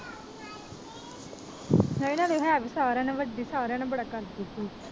ਹੈ ਵੀ ਸਾਰਿਆਂ ਨਾਲੋਂ ਵੱਡੀ ਸਾਰਿਆਂ ਨਾਲ ਬੜਾ ਕਰਦੀ ਸੀ